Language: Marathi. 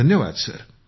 धन्यवाद सर